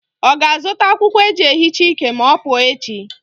Ọ ga-azụta akwụkwọ eji ehicha ike ma ọ pụọ echi?